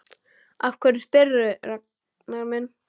Af hverju spyrðu, Ragnar minn?